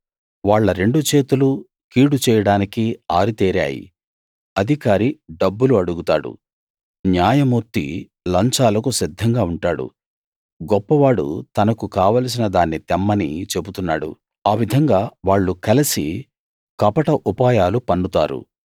వాళ్ళ రెండు చేతులూ కీడు చేయడానికి ఆరితేరాయి అధికారి డబ్బులు అడుగుతాడు న్యాయమూర్తి లంచాలకు సిద్ధంగా ఉంటాడు గొప్పవాడు తనకు కావాలిసిన దాన్ని తెమ్మని చెబుతున్నాడు ఆవిధంగా వాళ్ళు కలిసి కపట ఉపాయాలు పన్నుతారు